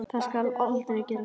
Það skal aldrei gerast.